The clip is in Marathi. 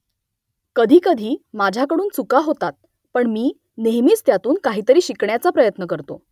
कधीकधी माझ्याकडून चुका होता पण मी नेहमीच त्यातून काहीतरी शिकण्याचा प्रयत्न करतो